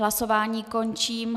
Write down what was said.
Hlasování končím.